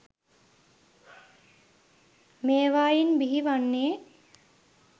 මේවායින් බිහි වන්නේ